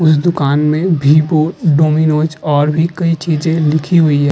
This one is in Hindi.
उस दुकान में डोमिनोज़ और भी कई चीजे लिखी हुई हैं।